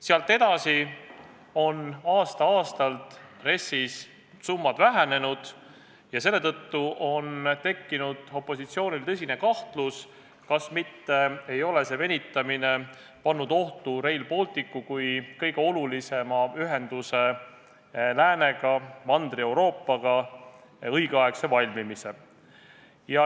Sealt edasi on RES-is summad aasta-aastalt vähenenud ja seetõttu on opositsioonil tekkinud tõsine kahtlus, kas selline venitamine ei ole mitte pannud ohtu Rail Balticu kui kõige olulisema ühendustee läänega, Mandri-Euroopaga, õigeaegse valmimise.